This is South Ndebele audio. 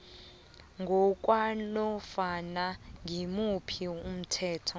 ngokwanofana ngimuphi umthetho